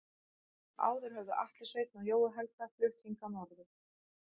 Áður höfðu Atli Sveinn og Jói Helga flutt hingað norður.